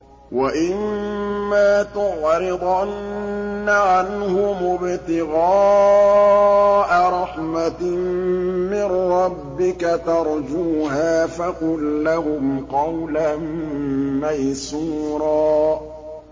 وَإِمَّا تُعْرِضَنَّ عَنْهُمُ ابْتِغَاءَ رَحْمَةٍ مِّن رَّبِّكَ تَرْجُوهَا فَقُل لَّهُمْ قَوْلًا مَّيْسُورًا